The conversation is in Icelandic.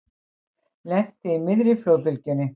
Lenti í miðri flóðbylgjunni